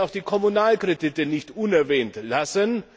Ich will auch die Kommunalkredite nicht unerwähnt lassen.